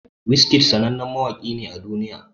Wizkid sannanen mawaki ne a duk duniya.